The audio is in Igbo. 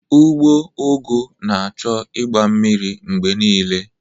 Ugbo ụgụ ga na-achọ ịgba mmiri mgbe niile